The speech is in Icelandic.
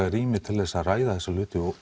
rými til þess að ræða þessa hluti og